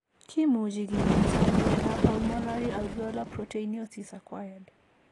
Kimuche kinyaita ano miondap Pulmonary alveolar proteinosis acquired?